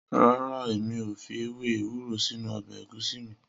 Rara, emi o fi ewe ewuro sinu ọbẹ egusi mi.